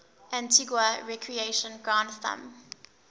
antigua recreation ground thumb